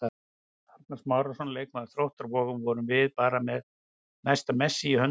Arnar Smárason, leikmaður Þróttar Vogum: Vorum við bara með næsta Messi í höndunum?